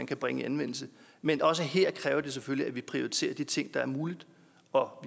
kan bringes i anvendelse men også her kræver det selvfølgelig at vi prioriterer de ting der er mulige og